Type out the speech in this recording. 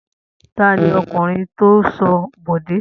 Ta ni ọkùnrin tó ń ṣọ́ Bọ̀dé?